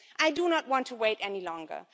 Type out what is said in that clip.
I do not want to wait any longer.